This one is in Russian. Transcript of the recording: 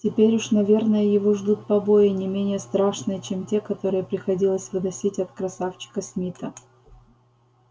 теперь уж наверное его ждут побои не менее страшные чем те которые приходилось выносить от красавчика смита